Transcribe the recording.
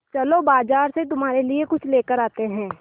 चलो बाज़ार से तुम्हारे लिए कुछ लेकर आते हैं